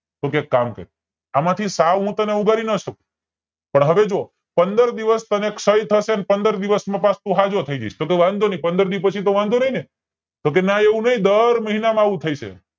તો કે એક કામ કર એમાંથી સૌ હું તને ઉભરી નો શકું પણ હવે જો પંદર દિવસ તને ક્ષય થશે અને પંદર દિવસ માં પાછો તું સાજો થાય જયસ તો કે વાંધો નય પંદર દિવસ પછી તો વાંધો નય ને તો કે ના એવું નય દર મહિને આવું થશે